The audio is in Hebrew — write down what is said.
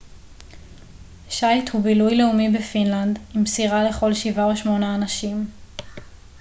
שייט הוא בילוי לאומי בפינלנד עם סירה לכל שבעה או שמונה אנשים